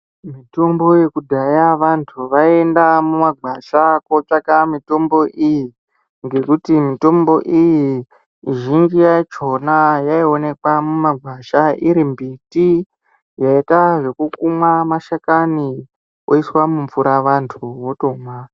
Mitombo yekudhaya vantu vaienda mumagwasha kotsvaka mitombo iyi, ngekuti mitombo iyi zhinji yakhona yaionekwa mumagwasha iri mbiti yaita zvekukumwa mashakani yoiswa mumvura vantu votomwa.